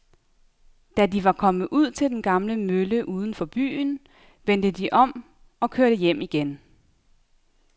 Da de var kommet ud til den gamle mølle uden for byen, vendte de om og kørte hjem igen.